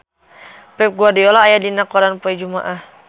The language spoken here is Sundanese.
Pep Guardiola aya dina koran poe Jumaah